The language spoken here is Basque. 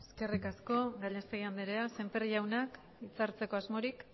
eskerrik asko gallastegui anderea sémper jauna hitzartzeko asmorik